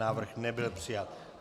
Návrh nebyl přijat.